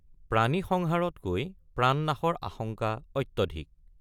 প্ৰাণী সংহাৰতকৈ প্ৰাণনাশৰ আশংকা অত্যধিক।